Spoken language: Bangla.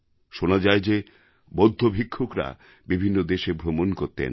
শোনা যায় যে বৌদ্ধ ভিক্ষুকরা বিভিন্ন দেশে ভ্রমণ করতেন